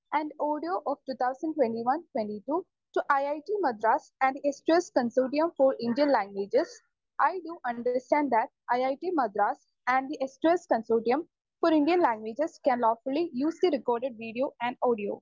Speaker 2 and audio of two thousand twenty one twenty two to IIT Madras and the S two S consortium for Indian languages. I do understand that IIT Madras and the S two S consortium for Indian languages can lawfully use the record video and audio.